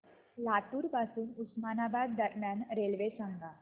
लातूर पासून उस्मानाबाद दरम्यान रेल्वे सांगा